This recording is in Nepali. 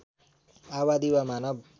आबादी वा मानव